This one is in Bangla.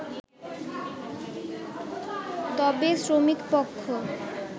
তবে শ্রমিক পক্ষ